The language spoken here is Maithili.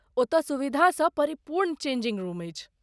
ओतय सुविधासँ परिपूर्ण चेंजिंग रूम अछि